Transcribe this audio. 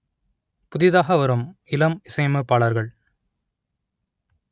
புதிதாக வரும் இளம் இசையமைப்பாளர்கள்